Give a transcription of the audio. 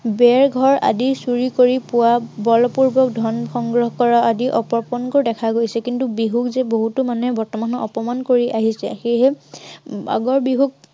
ভেলা ঘৰ, আদি চুৰি কৰি পোৱা বলপূৰ্বক ধন সংগ্ৰহ কৰা, আদি অপকৰ্ম দেখা গৈছে। কিন্তু বিহুক যে বহুতো মানুহে বৰ্তমান অপমান কৰি আহিছে। সেয়েহে আগৰ বিহুক